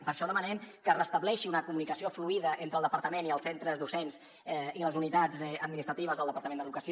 per això demanem que es restableixi una comunicació fluïda entre el departa·ment i els centres docents i les unitats administratives del departament d’educació